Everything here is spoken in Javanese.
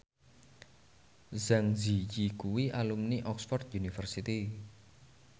Zang Zi Yi kuwi alumni Oxford university